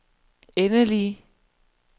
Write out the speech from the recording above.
endelige